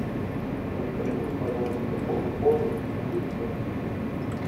закажи мне пожалуйста кока колу и чипсы